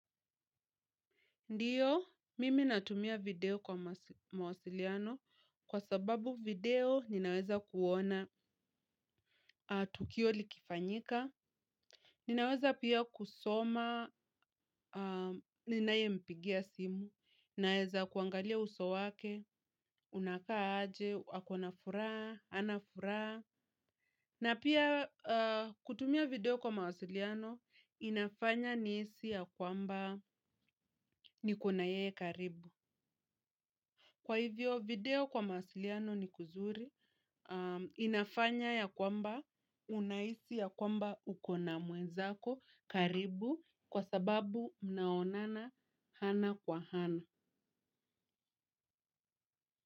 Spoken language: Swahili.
Ndiyo, mimi natumia video kwa mawasiliano kwa sababu video ninaweza kuona tukio likifanyika. Ninaweza pia kusoma, ninaie mpigia simu, ninaweza kuangalia uso wake, unakaaje, akona furaa, anafuraa. Na pia kutumia video kwa mawasiliano inafanya nisi ya kwamba nikunaye karibu. Kwa hivyo video kwa masiliano ni kuzuri inafanya ya kwamba unaisi ya kwamba ukona mweza ko karibu kwa sababu mnaonana hana kwa hana.